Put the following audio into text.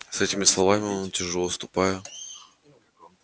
с этими словами он тяжело ступая